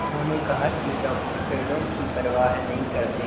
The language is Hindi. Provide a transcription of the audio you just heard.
उन्होंने कहा कि डॉक्टर पेड़ों की परवाह नहीं करते